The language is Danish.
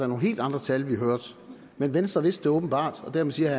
nogle helt andre tal vi hørte men venstre vidste det åbenbart og dermed siger